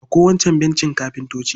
Ɗauko wancan bencin kafintoci.